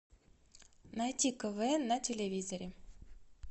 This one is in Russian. найти квн на телевизоре